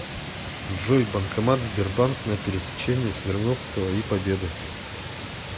джой банкомат сбербанк на пересечении свердловского и победы